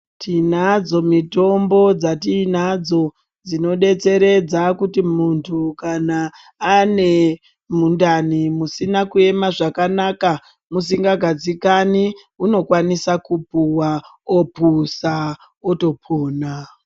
Tinadzo mitombo dzatiinadzo dzinodetseredza kuti muntu kana ane mundani musina kuema zvakanaka, musingadzikani, unokwanisa kupuwa ophuza, otopona.